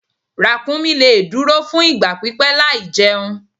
Ràkúnmí lè dúró fún ìgbà pípẹ́ láìjẹun.